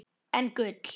En gul?